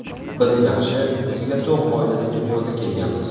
Biz yaxshi, o‘ziga to‘q oilada dunyoga kelganmiz.